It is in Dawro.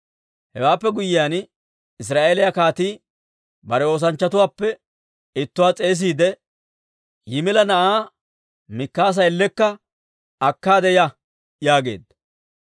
Hewaappe guyyiyaan Israa'eeliyaa kaatii bare oosanchchatuwaappe ittuwaa s'eesiide, «Yimila na'aa Mikaasa ellekka akkaade ya» yaageedda.